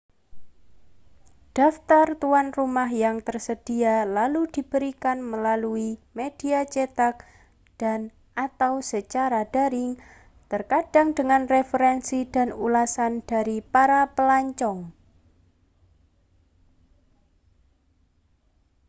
daftar tuan rumah yang tersedia lalu diberikan melalui media cetak dan/atau secara daring terkadang dengan referensi dan ulasan dari para pelancong